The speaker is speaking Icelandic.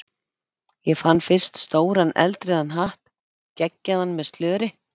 Ég fann fyrst stóran eldrauðan hatt geggjaðan, með slöri.